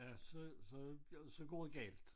Ja så så ja så går det galt